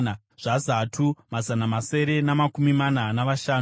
zvaZatu, mazana masere namakumi mana navashanu;